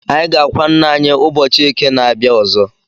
Anyị ga-akwa ńnà anyị ụbọchị eke na-abia ọzọ.